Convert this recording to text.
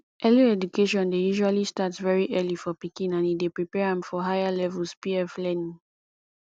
early education dey usually start very early for pikin and e dey prepare am for higher levels pf learning